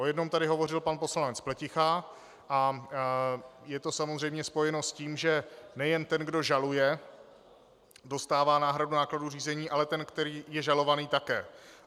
O jednom tady hovořil pan poslanec Pleticha a je to samozřejmě spojeno s tím, že nejen ten, kdo žaluje, dostává náhradu nákladů řízení, ale ten, který je žalovaný, také.